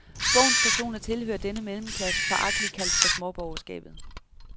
Bogens personer tilhører denne mellemklasse, foragteligt kaldt for småborgerskabet.